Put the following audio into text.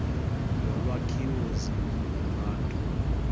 yolwakhiwo zindlu yabantu